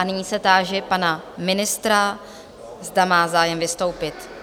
A nyní se táži pana ministra, zda má zájem vystoupit?